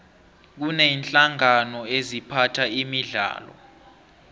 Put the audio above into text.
kuneenhlangano eziphatha imidlalo